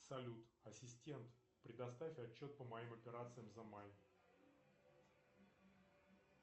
салют ассистент предоставь отчет по моим операциям за май